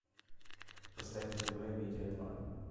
поставь на тв амедиа два